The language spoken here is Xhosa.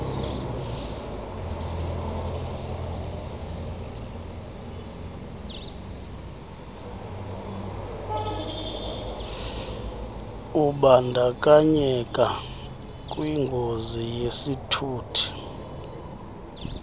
ubandakanyeka kwingozi yesithuthi